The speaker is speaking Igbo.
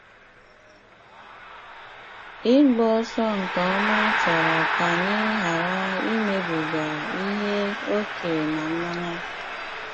Ịgba ọsọ nke ọma chọrọ ka anyị ghara imebiga ihe ókè na mmanya.